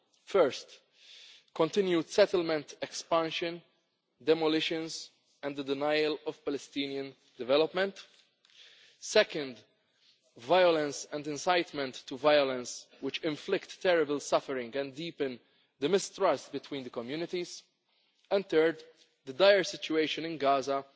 First, continued settlement expansion, demolitions and the denial of Palestinian development. Second, violence and incitement to violence which inflict terrible suffering and deepen the mistrust between the communities, and third, the dire situation in